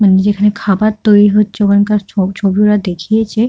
মানে যেখানে খাবার তৈরী হচ্ছে ওখানকার ছ ছবি ওরা দেখিয়েছে।